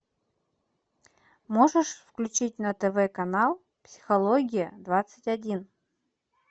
можешь включить на тв канал психология двадцать один